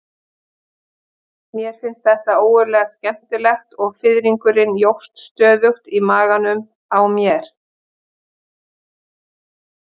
Mér fannst þetta ógurlega skemmtilegt og fiðringurinn jókst stöðugt í maganum á mér.